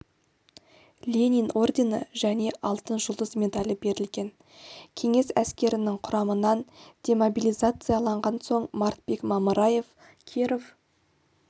ленин ордені және алтын жұлдыз медалі берілген кеңес әскерінің құрамынан демобилизацияланған соң мартбек мамыраев киров